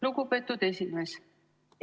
Lugupeetud esimees!